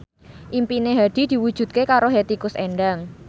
impine Hadi diwujudke karo Hetty Koes Endang